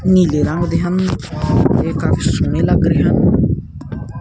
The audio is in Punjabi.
ਨੀਲੇ ਰੰਗ ਦੇ ਹਨ ਤੇ ਕਾਫੀ ਸੋਹਣੇ ਲੱਗ ਰਹੇ ਹਨ।